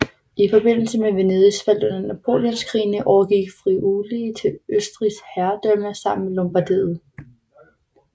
I forbindelse med Venedigs fald under Napoleonskrigene overgik Friuli til Østrigsk herredømme sammen med Lombardiet